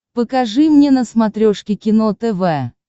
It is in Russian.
покажи мне на смотрешке кино тв